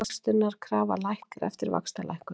Ávöxtunarkrafa lækkar eftir vaxtalækkun